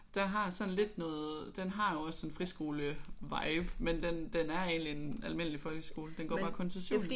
Der har sådan lidt noget den har jo også en friskole-vibe men den den er egentlig en almindelig folkeskole. Den går bare kun til 7.